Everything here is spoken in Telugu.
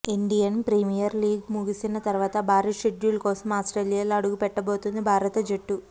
ఇండియన్ ప్రీమియర్ లీగ్ ముగిసిన తర్వాత భారీ షెడ్యూల్ కోసం ఆస్ట్రేలియాలో అడుగుపెట్టబోతోంది భారత జట్టు